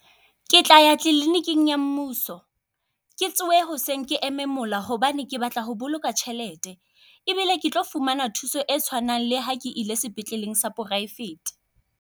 Ke tla ya kliniking ya mmuso ke tsohe hoseng ke eme mola hobane ke batla ho boloka tjhelete. Ebile ke tlo fumana thuso e tshwanang le ha ke ile sepetleleng sa poraefete.